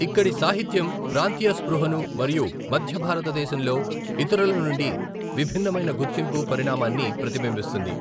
ఇక్కడి సాహిత్యం ప్రాంతీయ స్పృహను మరియు మధ్య భారతదేశంలో ఇతరుల నుండి విభిన్నమైన గుర్తింపు పరిణామాన్ని ప్రతిబింబిస్తుంది.